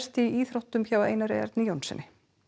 í íþróttum hjá Einar Erni Jónssyni